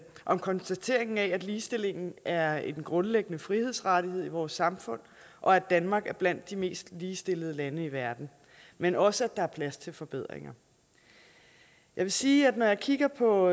om konstateringen af at ligestilling er en grundlæggende frihedsrettighed i vores samfund og at danmark er blandt de mest ligestillede lande i verden men også at der er plads til forbedringer jeg vil sige at når jeg kigger på